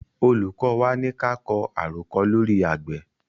Olùkọ́ wa ní ka kọ àròkọ lóri àgbẹ̀.